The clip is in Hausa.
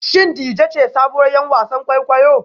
Shin Dejay ce sabuwar 'yar wasan kwaikwayo?